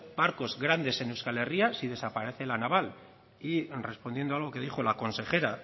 barcos grandes en euskal herria si desaparece la naval y respondiendo a lo que dijo la consejera